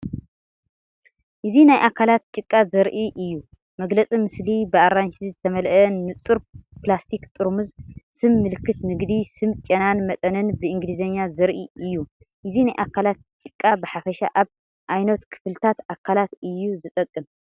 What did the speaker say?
እዚ ናይ ኣካላት ጭቃ ዘርኢ እዩ። መግለጺ ምስሊ ብኣራንሺ ዝተመልአ ንጹር ፕላስቲክ ጥርሙዝ። ስም ምልክት ንግዲ፣ ስም ጨናን መጠንን ብእንግሊዝኛ ዘርኢ እዩ። እዚ ናይ ኣካላት ጭቃ ብሓፈሻ ኣብ ኣየኖት ክፍልታት ኣካላት እዩ ዝጥቀም?